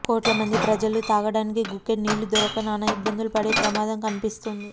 కోట్ల మంది ప్రజలు తాగడానికి గుక్కెడు నీళ్లు దొరక్క నానా ఇబ్బందులు పడే ప్రమాదం కనిపిస్తోంది